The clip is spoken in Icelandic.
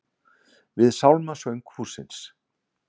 Við sálmasöng hússins.